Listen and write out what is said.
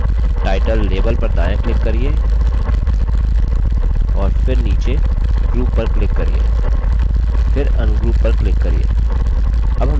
title label पर दायाँ click करिये और फिर नीचे group पर click करिये फिर ungroup पर click करिये